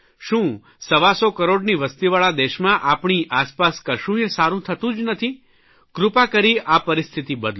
શું સવાસો કરોડની વસ્તીવાળા દેશમાં આપણી આસપાસ કશુંય સારૂં થતું જ નથી કૃપા કરી આ પરિસ્થિતિ બદલો